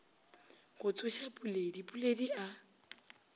go tsoša puledi puledi a